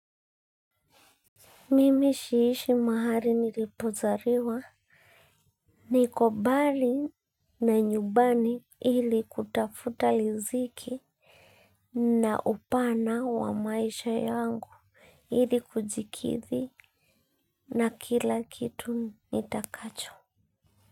Mimi siishi mahali nilipozaliwa, niko mbali na nyumbani ili kutafuta riziki na upana wa maisha yangu ili kujikidhi na kila kitu nitakacho.